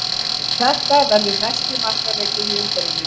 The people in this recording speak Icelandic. Þetta verður mesti markaleikurinn í umferðinni.